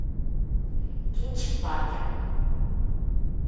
кинчик паркер